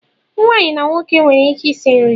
Nwaanyi na nwoke nwere ike isi nri.